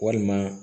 Walima